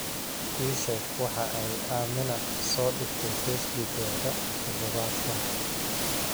ii sheeg waxa ay amina soo dhigtay facebook-geeda todobaadkan